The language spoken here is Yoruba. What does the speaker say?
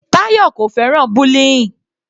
Tayọ kò fẹ́ràn bullying.